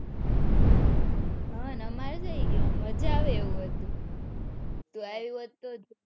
હા હમારે થઇ ગયું મજા આવે હતું તો એ.